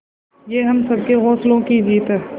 ये हम सबके हौसलों की जीत है